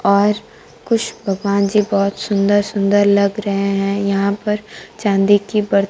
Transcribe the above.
और कुछ भगवान जी बहोत सुन्दर सुन्दर लग रहे हैं यहां पर चांदी की बर्तन--